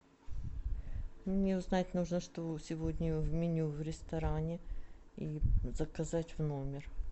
мне узнать нужно что сегодня в меню в ресторане и заказать в номер